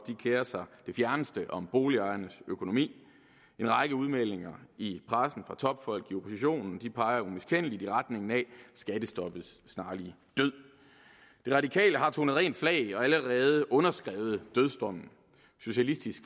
kerer sig det fjerneste om boligejernes økonomi en række udmeldinger i pressen fra topfolk i oppositionen peger umiskendeligt i retning af skattestoppets snarlige død de radikale har tonet rent flag og allerede underskrevet dødsdommen socialistisk